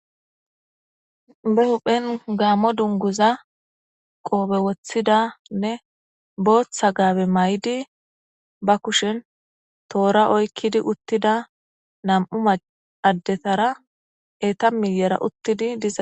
e huphen gaammo dunguza qoobe woththidanne booththa gaabe may7di ba kushen toora oykkidi uttida nam'u maddetara eeta miyera uttidi diza.